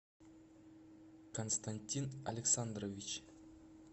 константин александрович